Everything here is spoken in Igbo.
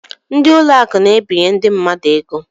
Ndị ụlọ akụ na-ebinye ndị mmadụ ego.